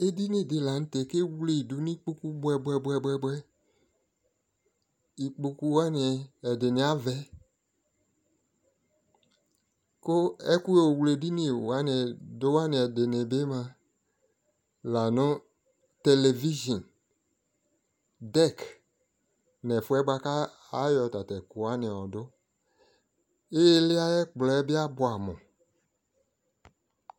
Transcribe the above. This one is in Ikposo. ɛdini dilantɛkʋɛwlʋdi nʋ ikpɔkʋ bʋɛ bʋɛ, ikpɔkʋ wani, ɛdini avɛ kʋ ɛkʋ yɔ wlɛ ɛdini wani ɛdinibi mʋa lanʋ television, deck, lakʋɛƒʋ wani kʋ ayɔ tatʋ ɛkʋ wani yɔdʋ, ili ayi ɛkplɔɛ bi abʋamʋ